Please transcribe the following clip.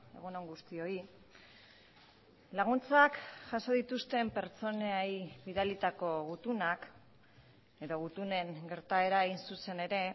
egun on guztioi laguntzak jaso dituzten pertsonei bidalitako gutunak edo gutunen gertaera hain zuzen ere